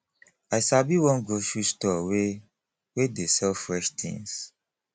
i sabi one grocery store wey wey dey sell fresh tins